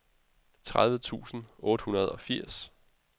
tredive tusind otte hundrede og firs